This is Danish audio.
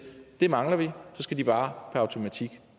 det mangler vi så skal de bare per automatik